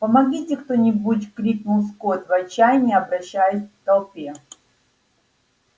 помогите кто-нибудь крикнул скотт в отчаянии обращаясь к толпе